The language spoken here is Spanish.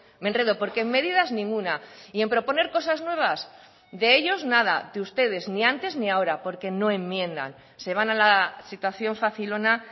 me enredo porque en medidas ninguna y en proponer cosas nuevas de ellos nada de ustedes ni antes ni ahora porque no enmiendan se van a la situación facilona